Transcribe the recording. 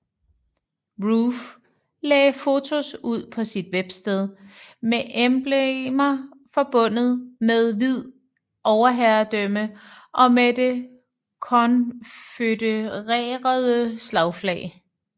Roof lagde fotos ud på sit websted med emblemer forbundet med hvid overherredømme og med det konfødererede slagflag